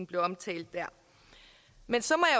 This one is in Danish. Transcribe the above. blev omtalt men så